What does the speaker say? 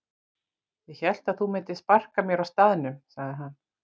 Ég hélt að þú myndir sparka mér á staðnum sagði hann.